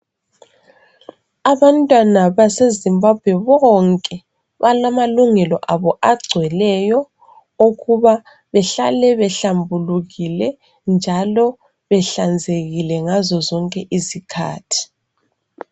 Abantwana base Zimbabwe bonke balamalungelo abo agcweleyo okuba behlale behlambulukile njalo behlanzekile ngazo zonke izikhathi.